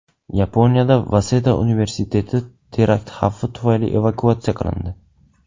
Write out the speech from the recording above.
Yaponiyada Vaseda universiteti terakt xavfi tufayli evakuatsiya qilindi.